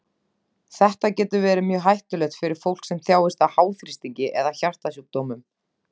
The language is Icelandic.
Þetta getur verið mjög hættulegt fyrir fólk sem þjáist af háþrýstingi eða hjartasjúkdómum.